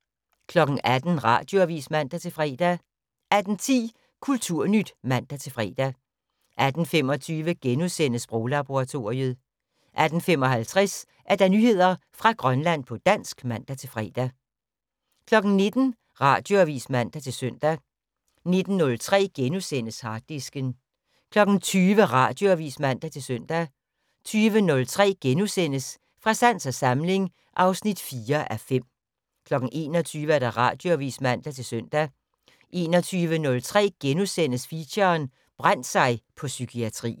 18:00: Radioavis (man-søn) 18:10: Kulturnyt (man-fre) 18:25: Sproglaboratoriet * 18:55: Nyheder fra Grønland på dansk (man-fre) 19:00: Radioavis (man-søn) 19:03: Harddisken * 20:00: Radioavis (man-søn) 20:03: Fra sans og samling (4:5)* 21:00: Radioavis (man-søn) 21:03: Feature: Brændt sig på psykiatrien *